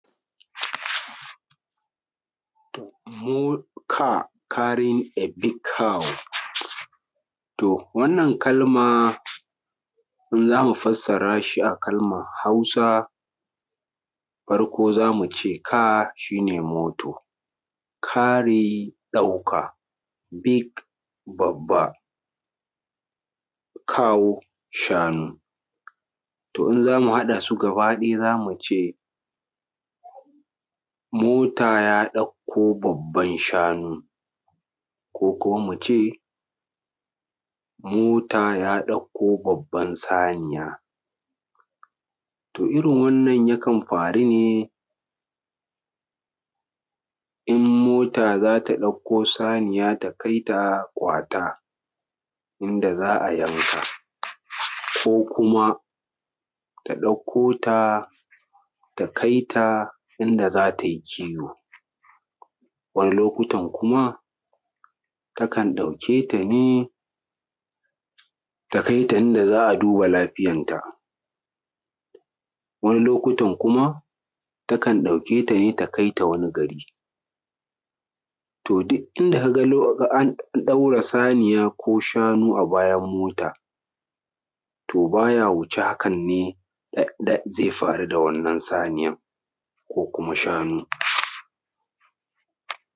More car carring a big cow to wannan kalmaa in za mu fassara shi a kalmar Hausa farko za mu ce car shi nee moto carry ɗauka big babba cow shanu to in za mu haɗa su gabaa ɗaya za mu cee mota ya ɗakko babban shanu ko kuma mu cee mota ya ɗakko babban saniya to irin wannan yakan faru ne in mota za ta ɗakko saniya ta kai ta kwataa inda za a yanka ko kuma ta ɗakkoo ta ta kai taa inda za ta yi kiwo wani lokutan kuma takan ɗauke ta nee ta kai ta inda za a duba lafiyanta wani lokutan kuma takan ɗaukee ta nee ta kai ta wani garii to duk inda ka ga an ɗaure saniya ko shanu a bayan mota to baa ya wuce hakan ne zai faru da wannan saniyan ko kuma shanu